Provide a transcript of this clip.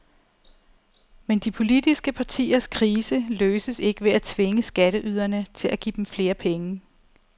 Men de politiske partiers krise løses ikke ved at tvinge skatteyderne til at give dem flere penge.